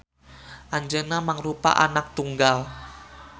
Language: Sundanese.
Anjeuna mangrupa anak tunggal